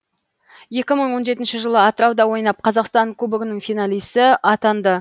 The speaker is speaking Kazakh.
екі мың он жетінші жылы атырауда ойнап қазақстан кубогының финалисі атанды